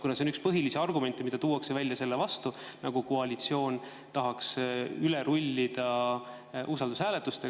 See on üks põhilisi argumente, mida tuuakse välja selle kohta, nagu koalitsioon tahaks usaldushääletustega üle rullida.